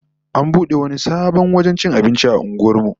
An bude wani sabon wajen cin abinci a unguwar mu